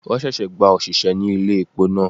Won ṣẹ̀ṣẹ̀ gba òṣìṣẹ́ ní ilé epo náà.